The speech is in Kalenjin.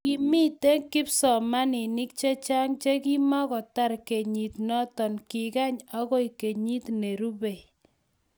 ki mito kipsomaninik che chang' che kimukutar kenyit noto, kikany akoi kenyit ne rubei